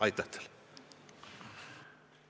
Aitäh teile!